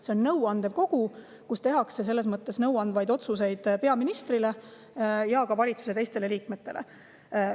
See on nõuandev kogu, kus tehakse otsuseid peaministrile ja ka teistele valitsuse liikmetele nõu andmiseks.